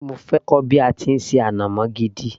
mo fẹ́ kọ́ bí a ti ń ṣe ànàmọ́ gidi